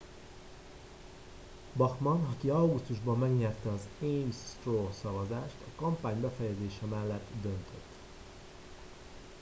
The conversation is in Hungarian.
bachmann aki augusztusban megnyerte az ames straw szavazást a kampány befejezése mellett döntött